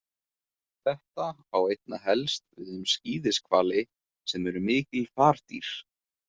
Þetta á einna helst við um skíðishvali sem eru mikil fardýr.